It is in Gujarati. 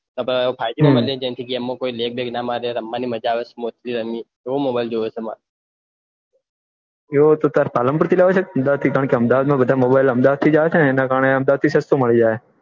ફાઈવજી માં એમાં લેગ બેગ ણ મારે રમવાની મજા આવે એવો mobile જોયીએ છે તારે પાલનપુર લાવવાનો કે અમદાવાદ થી આવે છે એટલે અમદાવાદ થી સસ્તો મળીજાય